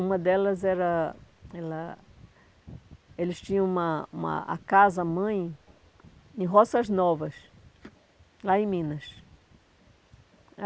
Uma delas era... Ela Eles tinham uma uma a casa, mãe, em Roças Novas, lá em Minas.